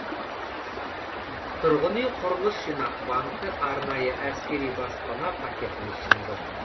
тұрғын үй құрылыс жинақ банкі арнайы әскери баспана пакетін ұсынды